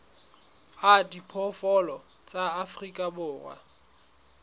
a diphoofolo tsa afrika borwa